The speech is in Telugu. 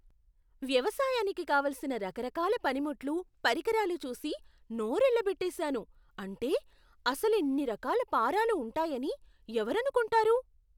వ్యవసాయానికి కావలసిన రకరకాల పనిముట్లు, పరికరాలు చూసి నోరెళ్ళబెట్టేసాను. అంటే, అసలిన్ని రకాల పారలు ఉంటాయని ఎవరనుకునుంటారు?